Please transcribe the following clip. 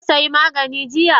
Ka sayi maganin jiya?